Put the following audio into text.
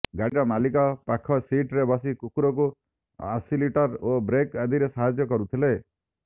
ଗାଡ଼ିର ମାଲିକ ପାଖ ଶିଟ୍ରେ ବସି କୁକୁରକୁ ଆସିଲିଟର ଓ ବ୍ରେକ୍ ଆଦିରେ ସାହାଯ୍ୟ କରୁଥିଲେ